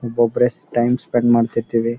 ಒಬ್ ಒಬ್ಬರೇ time spend ಮಾಡ್ತಿರ್ತಿವಿ.